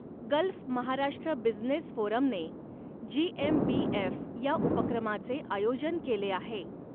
Gulf Maharashtra business फोरमने GMBF या उपक्रमाचे आयोजन केले आहे.